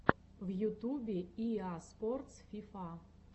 в ютубе иа спортс фифа